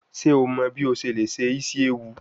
Ṣe o mọ bi o ṣe le se isi ewu?